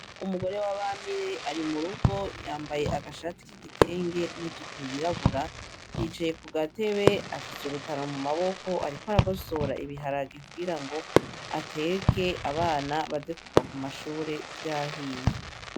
Umugore wabamire ari murugo yambaye agashati k'igitenge n'ijipo yirabura, yicaye kugatebe afise urutaro ariko aragosora ibiharage kugirango ateke abana baze kuva ku mashuli vyahiye.